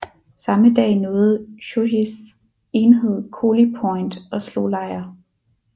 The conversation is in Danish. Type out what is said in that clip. Samme dag nåede Shōjis enhed Koli Point og slog lejr